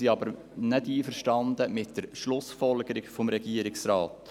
Wir sind aber nicht einverstanden mit der Schlussfolgerung des Regierungsrates.